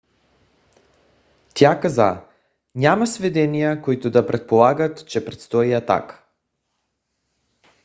тя каза: няма сведения които да предполагат че предстои атака